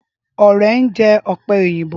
Ọrẹ ń jẹ ọ̀pẹ òyìnbó.